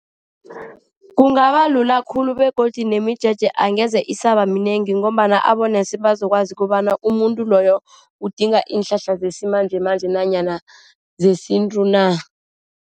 Kungabalula khulu begodu nemijeje angeze isabaminengi ngombana abonesi bazokwazi kobana umuntu loyo udinga iinhlahla zesimanjemanje nanyana zesintu na.